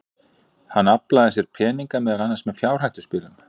Hann aflaði sér peninga, meðal annars með fjárhættuspilum.